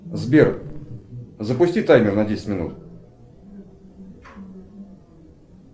сбер запусти таймер на десять минут